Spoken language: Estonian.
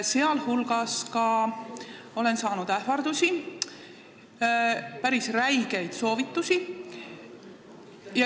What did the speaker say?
Muu hulgas olen saanud ähvardusi ja päris räigeid soovitusi.